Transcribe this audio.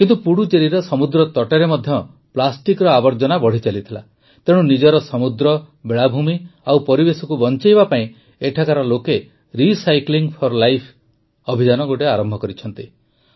କିନ୍ତୁ ପୁଡୁଚେରିର ସମୁଦ୍ରତଟରେ ମଧ୍ୟ ପ୍ଲାଷ୍ଟିକର ଆବର୍ଜନା ବଢ଼ିଚାଲିଥିଲା ତେଣୁ ନିଜର ସମୁଦ୍ର ବେଳାଭୂମି ଓ ପରିବେଶକୁ ବଂଚାଇବା ପାଇଁ ଏଠାକାର ଲୋକେ ରିସାଇକ୍ଲିଂ ଫର୍ ଲାଇଫ୍ ଅଭିଯାନ ଆରମ୍ଭ କରିଛନ୍ତି